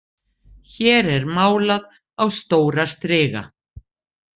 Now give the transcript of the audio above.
Hér er málað á stóra striga.